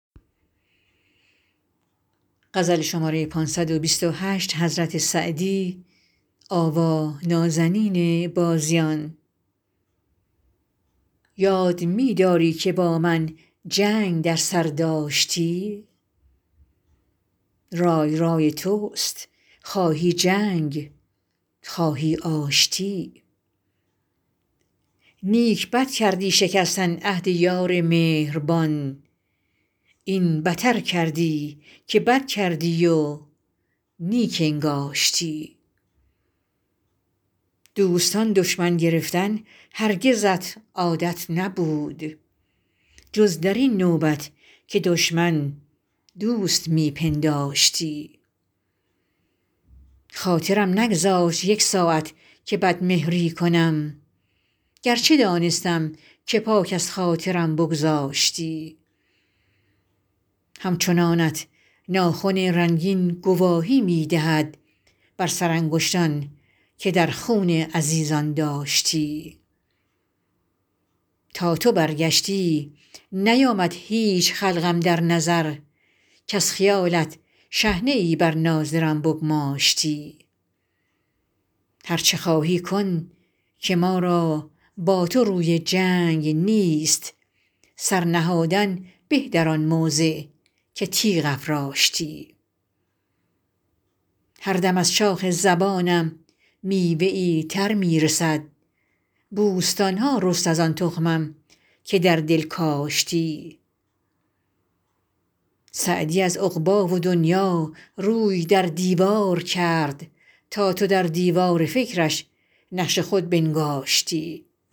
یاد می داری که با من جنگ در سر داشتی رای رای توست خواهی جنگ خواهی آشتی نیک بد کردی شکستن عهد یار مهربان این بتر کردی که بد کردی و نیک انگاشتی دوستان دشمن گرفتن هرگزت عادت نبود جز در این نوبت که دشمن دوست می پنداشتی خاطرم نگذاشت یک ساعت که بدمهری کنم گرچه دانستم که پاک از خاطرم بگذاشتی همچنانت ناخن رنگین گواهی می دهد بر سرانگشتان که در خون عزیزان داشتی تا تو برگشتی نیامد هیچ خلق اندر نظر کز خیالت شحنه ای بر ناظرم بگماشتی هر چه خواهی کن که ما را با تو روی جنگ نیست سر نهادن به در آن موضع که تیغ افراشتی هر دم از شاخ زبانم میوه ای تر می رسد بوستان ها رست از آن تخمم که در دل کاشتی سعدی از عقبی و دنیا روی در دیوار کرد تا تو در دیوار فکرش نقش خود بنگاشتی